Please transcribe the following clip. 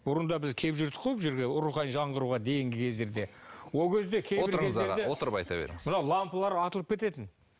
бұрында біз келіп жүрдік қой бұл жерге рухани жаңғыруға дейінгі кездерде ол кезде отырыңыз аға отырып айта беріңіз мынау лампалар атылып кететін